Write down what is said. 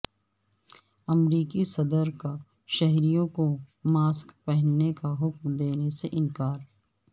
امریکی صدر کاشہریوں کوماسک پہننے کاحکم دینے سے انکار